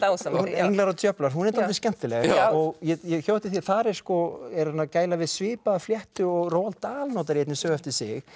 englar og djöflar hún er dálítið skemmtileg og ég hjó eftir því að þar er er hann að gæla við svipaða fléttu og Roald Dahl notar í einni sögu eftir sig